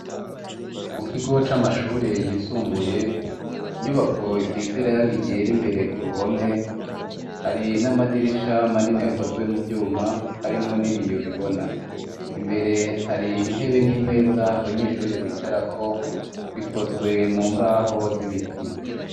Mu kigo c'amashure yisumbuye, inyubako isize irangi ryera imbere ku ruhome, hari n'amadirisha manini akozwe mu vyuma harimwo n'ibiyo bibona, imbere hari intebe n'imeza abanyeshure bicarako ikozwe mu mbaho z'ibiti.